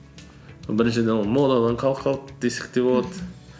біріншіден ол модадан қалып қалды десек те болады